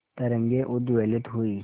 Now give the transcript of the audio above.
तरंगे उद्वेलित हुई